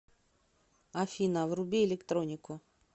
афина вруби электронику